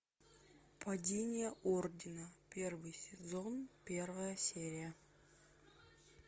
падение ордена первый сезон первая серия